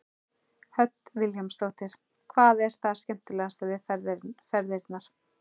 Hödd Vilhjálmsdóttir: Hvað er það skemmtilegasta við ferðirnar?